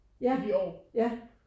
Ja ja